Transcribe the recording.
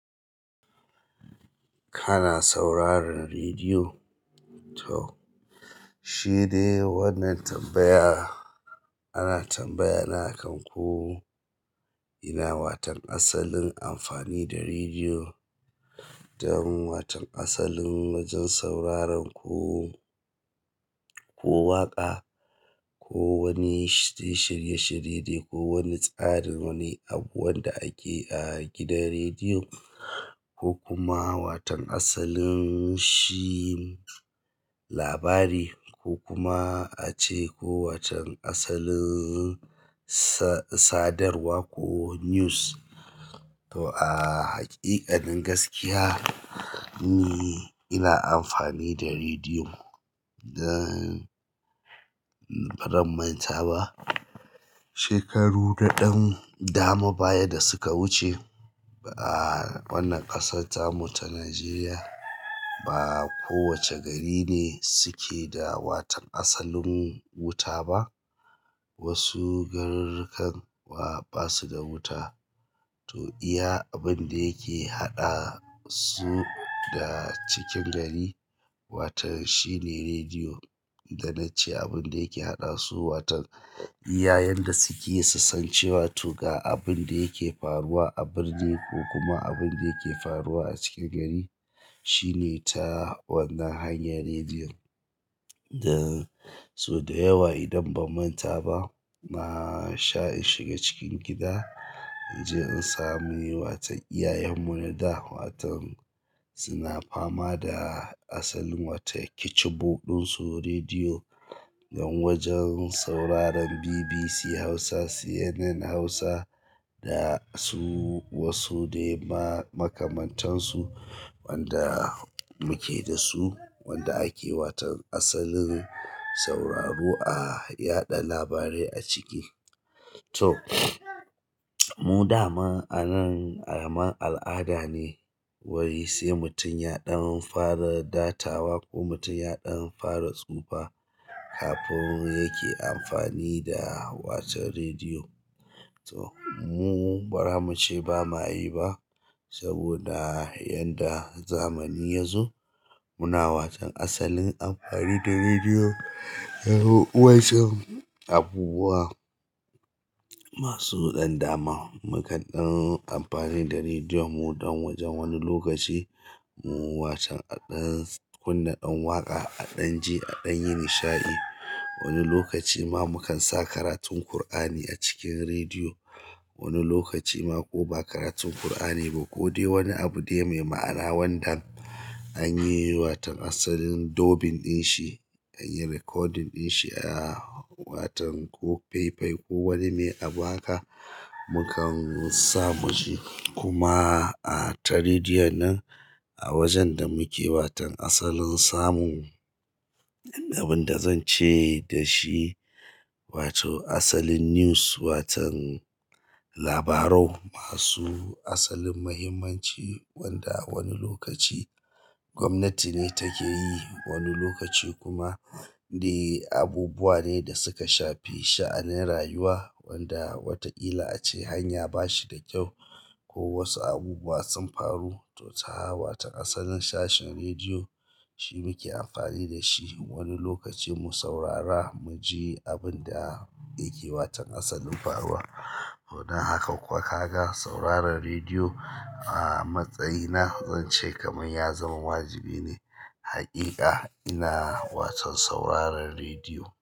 Kana sauraran rediyo? To shidai wannan tambaya, ana tambaya na akan ko. Ina waton asalin amfani da rediyo don waton asalin wajen sauraren ku ko waƙa ko wani shirye-shirye ko wani tsarin wani abu wanda ake a gidan rediyo ko kuma watan asalin shi labari ko kuma ace ko watan asalin sadarwa ko news. To a haƙiƙanin gaskiya ni ina amfani da rediyo dan. Ba ran manta ba shekaru da ɗan dama baya da suka wuce a wannan ƙasarta mu ta Najeriya ba kowace gari ne suke da watan asalin wuta ba. Wasu garurukan basuda wuta. To iya abin da yake haɗa su da cikin gari, watan shi ne rediyo. Da nace abin da yake haɗa su, watan iya yanda suke susancewa to ga abin da yake faruwa a birni ko kuma abin da yake faruwa a cikin gari shi ne ta wannan hanyan rediyon. Dan sau da yawa idan ban manta ba, na sha in shiga cikin gida, in je in sami watan iyayen mu na da watan suna fama da asalin wata keciboɗin su rediyo don wajen sauraron BBC Hausa, CNN Hausa da su wasu dai ma makamantansu wanda muke da su wanda ake watan asalin sauraro a yaɗa labarai a ciki. To mu da ma anan kaman al'adan ne, wai sai mutum ya ɗan fara datawa ko mutum ya ɗan fara tsufa kafin yake amfani da watan rediyo. To mu bara muce ba mayi ba saboda yanda zamani yazo muna watan asalin amfani da rediyo. Wai sai abubuwa masu ɗan dama mukan ɗan amfani da rediyo mu don wajen wani lokaci mu watan a ɗan kunna ɗan waƙa, a ɗan ji, a ɗan yi nishaɗi. Wani lokaci ma mukan sa karatun Kur'ani a cikin rediyo. Wani lokaci ma ko ba karatun Kur'ani ba ko dai wani abu da mai ma'ana wanda. Anyi watan asalin dubbing ɗin shi, anyi recording ɗin shi a watan ko faifai ko wani mai abu haka mukan samu ji. Kuma a ta rediyon nan a wajen da muke watan asalin samu. Abin da zan ce dashi wato asalin news, watan. Labarau masu asalin muhimmanci wanda wani lokaci gwamnati ne take yi, wani lokaci kuma dai abubuwa ne da suka shafi sha'anin rayuwa wanda wataƙila ace hanya ba shi da kyau ko wasu abubuwa sun faru. To ta watan asalin sashen rediyo shi muke amfani da shi. Wani lokaci mu saurara muji abinda yake watan asalin faruwa. Dan haka kuwa kaga sauraron rediyo. A matsayina zan ce kamar ya zama wajibi ne. Haƙiƙa ina watan sauraron rediyo.